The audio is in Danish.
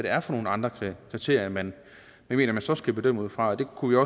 er for nogle andre kriterier man mener man så skal bedømme ud fra og det kunne